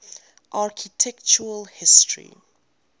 architectural history